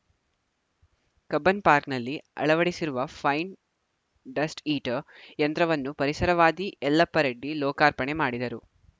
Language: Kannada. ಕಬ್ಬನ್‌ ಪಾರ್ಕ್ನಲ್ಲಿ ಅಳವಡಿಸಿರುವ ಫೈನ್‌ ಡಸ್ಟ್‌ ಈಟರ್‌ಯಂತ್ರವನ್ನು ಪರಿಸರವಾದಿ ಯಲ್ಲಪ್ಪರೆಡ್ಡಿ ಲೋಕಾರ್ಪಣೆ ಮಾಡಿದರು